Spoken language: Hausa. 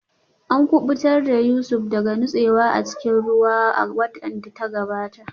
An kubutar da Yusuf daga nutsewa a cikin ruwa a watan da ya gabata